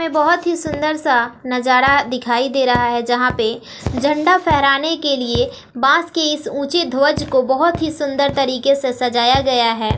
हमें बहोत ही सुंदर सा नजारा दिखाई दे रहा है जहां पे झंडा फहराने के लिए बांस के इस ऊंचे ध्वज को बहोत ही सुंदर तरीके से सजाया गया है।